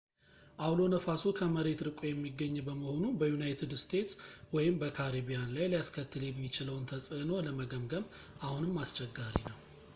አውሎ ነፋሱ ከመሬት ርቆ የሚገኝ በመሆኑ በዩናይትድ እስቴትስ ወይም በካሪቢያን ላይ ሊያስከትል የሚችለውን ተጽዕኖ ለመገምገም አሁንም አስቸጋሪ ነው